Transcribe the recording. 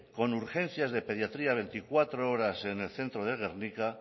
con urgencias de pediatría veinticuatro horas en el centro de gernika